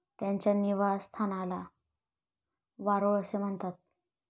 त्यांच्या निवासस्थानला वारुळ असे म्हणतात.